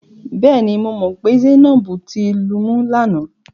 Bẹ́ẹ̀ni, mo mọ̀ pé Zainab ti lumú lánàá.